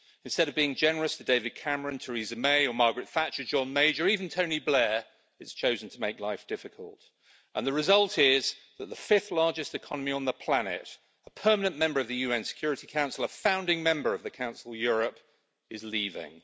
Instead of being generous to David Cameron, Theresa May or Margaret Thatcher, John Major, or even Tony Blair, it has chosen to make life difficult, and the result is that the fifth largest economy on the planet, a Permanent Member of the UN Security Council, a founding Member of the Council of Europe, is leaving.